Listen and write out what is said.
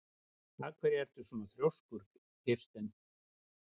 Af hverju ertu svona þrjóskur, Kirsten?